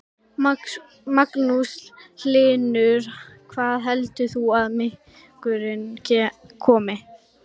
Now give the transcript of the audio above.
Magnús Hlynur: Hvaða heldur þú að minkurinn komi?